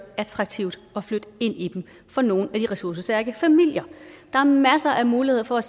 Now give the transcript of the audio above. attraktivt at flytte ind i dem for nogle af de ressourcestærke familier der er masser af muligheder for at